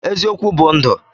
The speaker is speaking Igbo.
Eziokwu bu ndu.